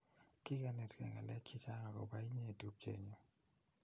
kikenetkei ngalek chichang akopa inye tupche nyu